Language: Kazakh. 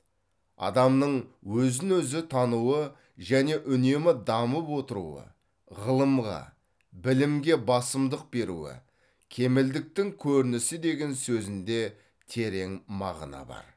адамның өзін өзі тануы және үнемі дамып отыруы ғылымға білімге басымдық беруі кемелдіктің көрінісі деген сөзінде терең мағына бар